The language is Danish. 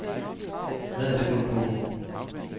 Hvad er det for en bog?